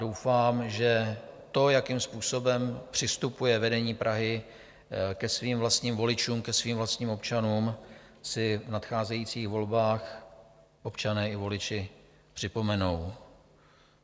Doufám, že to, jakým způsobem přistupuje vedení Prahy ke svým vlastním voličům, ke svým vlastním občanům, si v nadcházejících volbách občané i voliči připomenou.